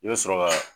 I bɛ sɔrɔ ka